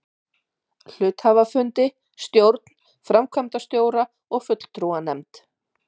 hluthafafundi, stjórn, framkvæmdastjóra og fulltrúanefnd.